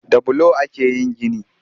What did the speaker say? Da bulo ake yin gini